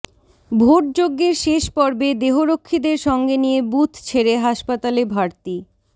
vote যজ্ঞের শেষ পর্বে দেহরক্ষীদের সঙ্গে নিয়ে বুথ ছেড়ে হাসপাতালে ভারতী